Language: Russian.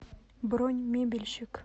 бронь мебельщик